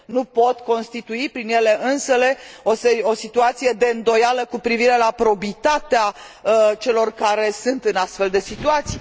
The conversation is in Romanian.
Nu pot constitui prin ele însele o situație de îndoială cu privire la probitatea celor care sunt în astfel de situații.